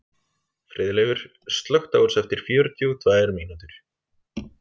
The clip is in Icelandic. Friðleifur, slökktu á þessu eftir fjörutíu og tvær mínútur.